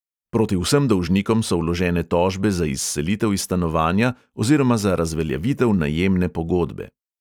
Proti vsem dolžnikom so vložene tožbe za izselitev iz stanovanja oziroma za razveljavitev najemne pogodbe.